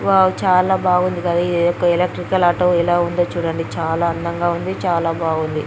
Wow చాలా బాగుంది కదా ఇదేదో ఎలక్ట్రికల్ ఆటో ఎలా ఉందో చూడండి చాలా అందంగా ఉంది చాలా బాగుంది.